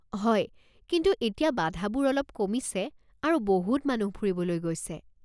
হয়, কিন্তু এতিয়া বাধাবোৰ অলপ কমিছে আৰু বহুত মানুহ ফুৰিবলৈ গৈছে।